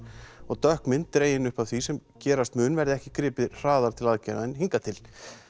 og dökk mynd dregin upp af því sem gerast mun verði ekki gripið hraðar til aðgerða en hingað til